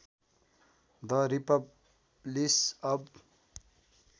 the republic अव